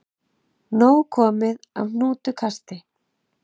Nóg komið af hnútukasti